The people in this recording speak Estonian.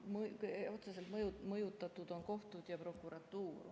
Otseselt mõjutatud on kohtud ja prokuratuur.